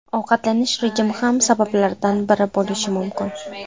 Ovqatlanish rejimi ham sabablardan biri bo‘lishi mumkin.